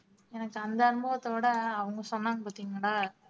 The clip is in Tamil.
எனக்கு அந்த அனுபவத்தோட அவங்க சொன்னாங்க பார்த்தீங்களா